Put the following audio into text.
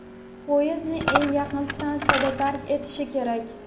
poyezdni eng yaqin stansiyada tark etishi kerak.